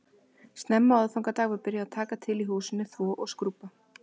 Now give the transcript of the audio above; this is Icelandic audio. Snemma á aðfangadag var byrjað að taka til í húsinu, þvo og skrúbba